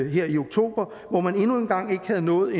i oktober hvor man endnu en gang ikke var nået